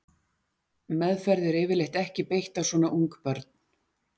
Meðferð er yfirleitt ekki beitt á svona ung börn.